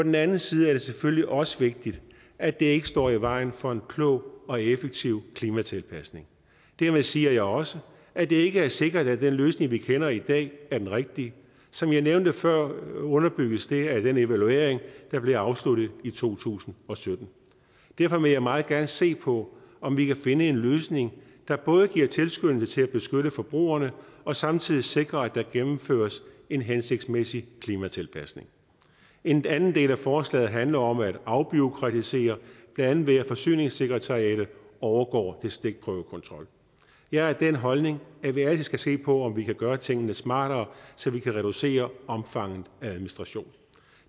den anden side er det selvfølgelig også vigtigt at det ikke står i vejen for en klog og effektiv klimatilpasning dermed siger jeg også at det ikke er sikkert at den løsning vi kender i dag er den rigtige som jeg nævnte før underbygges det af den evaluering der blev afsluttet i to tusind og sytten derfor vil jeg meget gerne se på om vi kan finde en løsning der både giver tilskyndelse til at beskytte forbrugerne og samtidig sikrer at der gennemføres en hensigtsmæssig klimatilpasning en anden del af forslaget handler om at afbureaukratisere blandt andet ved at forsyningssekretariatet overgår til stikprøvekontrol jeg har den holdning at vi altid skal se på om vi kan gøre tingene smartere så vi kan reducere omfanget af administration